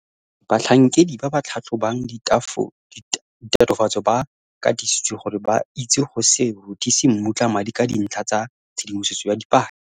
O tlhalositse gore batlhankedi ba ba tlhatlhobang ditatofatso ba katisitswe gore ba itse go se rothise mmutla madi ka dintlha tsa tshedimosetso ya dipaki.